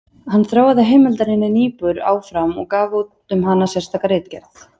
Hann þróaði heimildarýni Niebuhr áfram og gaf út um hana sérstaka ritgerð.